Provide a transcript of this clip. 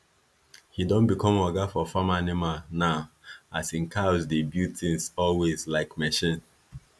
he don become oga for farm animal now as him cows dey build things always like machine